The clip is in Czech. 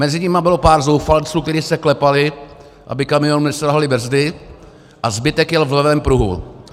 Mezi nimi bylo pár zoufalců, kteří se klepali, aby kamionu neselhaly brzdy, a zbytek jel v levém pruhu.